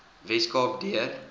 wes kaap deur